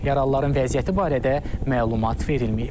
Yaralıların vəziyyəti barədə məlumat verilməyib.